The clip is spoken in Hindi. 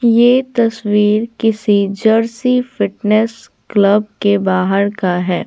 ये तस्वीर किसी जर्सी फिटनेस क्लब के बाहर का है।